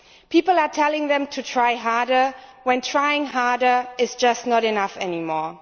People are telling them to try harder when trying harder is just not enough anymore.